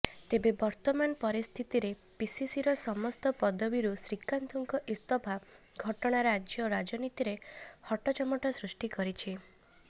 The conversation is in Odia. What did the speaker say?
ତେବେ ବର୍ତ୍ତମାନ ପରିସ୍ଥିତିରେ ପିସିସିର ସମସ୍ତ ପଦବୀରୁ ଶ୍ରୀକାନ୍ତଙ୍କ ଇସ୍ତଫା ଘଟଣା ରାଜ୍ୟ ରାଜନୀତିରେ ହଟଚମଟ ସୃଷ୍ଟି କରିଛି